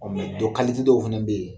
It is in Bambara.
Ɔ dɔ dɔw fana bɛ yen